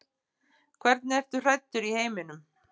Hvernig ertu hræddur í heiminum?